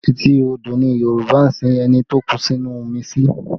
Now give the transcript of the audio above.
Etí odò ni Yorùbá ń sin ẹni tó kú sínú omi sí